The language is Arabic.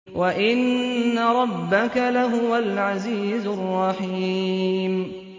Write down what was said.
وَإِنَّ رَبَّكَ لَهُوَ الْعَزِيزُ الرَّحِيمُ